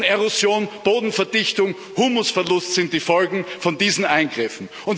Bodenerosion, Bodenverdichtung, Humusverlust sind die Folgen von diesen Eingriffen.